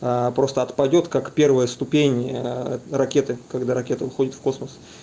просто отпадёт как первая ступень ракеты когда ракета уходит в космос